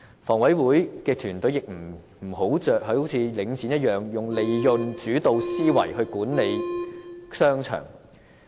房委會的團隊亦不要如領展般以利潤主導思維的方式管理商場。